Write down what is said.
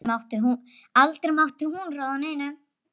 Aldrei mátti hún ráða neinu.